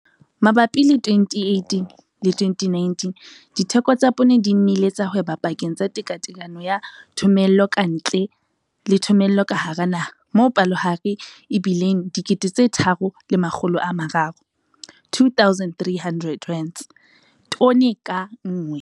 Mabapi le 2018-2019, ditheko tsa poone di nnile tsa hweba pakeng tsa tekatekano ya thomello ka ntle le thomello ka hara naha, moo palohare e bileng R2 300 tone ka nngwe.